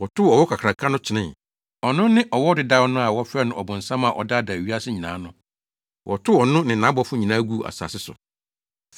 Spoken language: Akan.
Wɔtow ɔwɔ kakraka no kyenee. Ɔno ne ɔwɔ dedaw no a wɔfrɛ no ɔbonsam a ɔdaadaa wiase nyinaa no. Wɔtow ɔno ne nʼabɔfo nyinaa guu asase so.